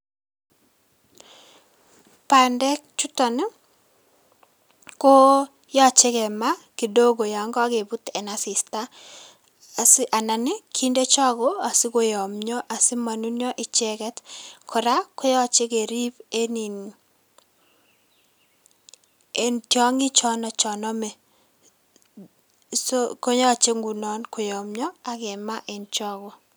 Bandek chuton iko koyoche kemaa kidogo yon kokebut en asista asi anan ii kinde chogo asikoyomio asimonunio icheget kora koyoche kerib en in en tiong'ik chono chon ome so koyoche ngunon koyomio ak kemaa en chogo.